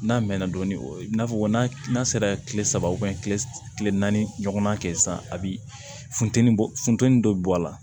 N'a mɛnna dɔɔnin o ye i n'a fɔ n'a n'a sera kile saba kile naani ɲɔgɔnna kɛ sisan a bi funtɛni bɔ funteni dɔ bɛ bɔ a la